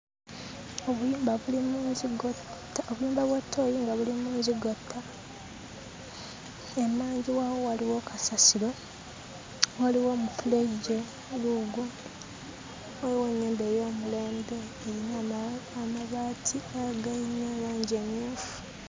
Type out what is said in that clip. Obuyumba buli mu nzigotta obuyumba bwa ttooyi nga buli mu nzigotta, emmanju waabwo waliwo kasasiro, waliyo omufulejje guugwo. Waliwo ennyumba ey'omulembe erina amabaati agayina langi emmyufu.